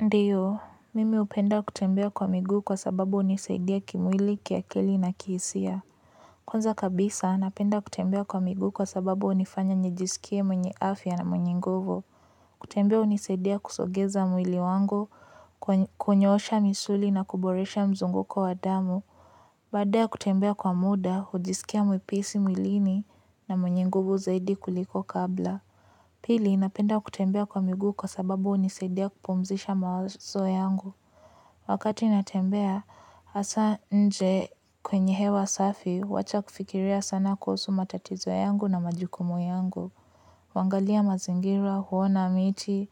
Ndiyo, mimi hupenda kutembea kwa miguu kwa sababu hunisaidia kimwili, kiakili na kihisia. Kwanza kabisa, napenda kutembea kwa miguu kwa sababu hunifanya nijisikie mwenye afya na mwenye nguvu. Kutembea hunisaidia kusogeza mwili wangu, kunyoosha misuli na kuboresha mzunguko wa damu. Baada ya kutembea kwa muda, hujisikia mwepesi mwilini na mwenye nguvu zaidi kuliko kabla. Pili napenda kutembea kwa miguu kwa sababu hunisaidia kupumzisha mawazo yangu wakati natembea hasa nje kwenye hewa safi huwacha kufikiria sana kuhusu matatizo yangu na majukumu yangu huangalia mazingira, huona miti,